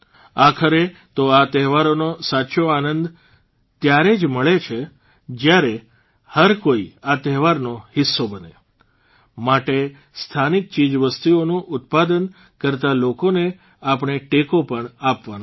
આખરે તો આ તહેવારોનો સાચો આનંદ પણ ત્યારે જ મળે છે જયારે હરકોઇ આ તહેવારનો હિસ્સો બને માટે સ્થાનિક ચીજવસ્તુઓનું ઉત્પાદન કરતાં લોકોને આપણે ટેકો પણ આપવાનો છે